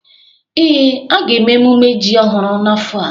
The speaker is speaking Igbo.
Ee, a ga-eme emume ji ọhụrụ n'afọ a